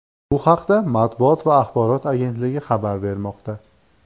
Bu haqda Matbuot va axborot agentligi xabar bermoqda .